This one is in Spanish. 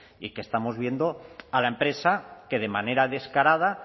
y que estamos viendo a la empresa que de manera descarada